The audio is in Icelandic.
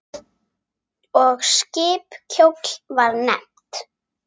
Og skip kjóll var nefnt.